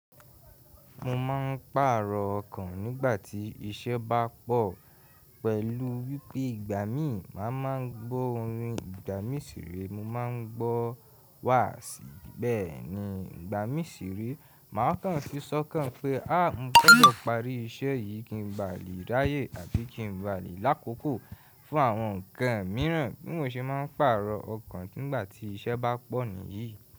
Mo máa ń pààrọ̀ ọkàn nígbà tí iṣẹ́ bá pọ̀ pẹ̀lú wípé ìgbà mí màá máa ń gbọ́ orin. Ìgbà mí ṣì rí mo máa ń gbọ́ wàsì, bẹ́ẹ̀ ni ìgbà mí ṣì rí máa kàn fi sọ́kàn pé a, mo fẹ́ lọ parí iṣẹ́ yìí kí n ba lè ráyè àti kí n ba lè lákòókò fún àwọn ǹkan mìíràn bí mò ṣe máa ń pààrọ̀ ọkàn nígbà tí iṣẹ́ bá pọ̀ nìyí.